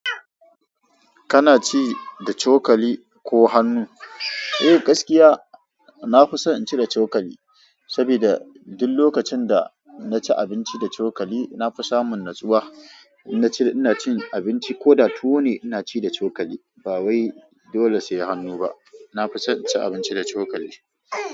Kana ci da cokali ko hannu? Eh, gaskiya na fi so in ci da cokali, sabida duk lokacin da na ci abinci da cokali na fi samun natsuwa. In ina cin abinci ko da tuwo ne, ina ci da cokali ba wai dole sai hannu ba. Na fi son in ci abinci da cokali.